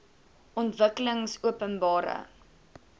ontwikkelingopenbare